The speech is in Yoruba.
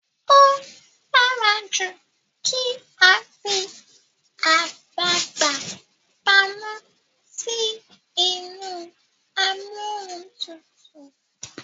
o dára jù kí a fí àgbagbà pàmò sí inú Amóhuntutù.